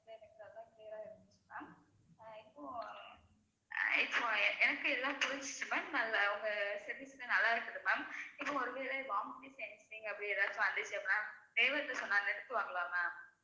ஆஹ் இப்ப எனக்கு எல்லாம் புரிஞ்சிச்சி ma'am உங்க service ல நல்லா இருக்குது ma'am இப்ப ஒருவேளை vomiting sensation அப்படி ஏதாவது வந்துச்சுன்னா driver கிட்ட சொன்ன நிறுத்துவாங்களா ma'am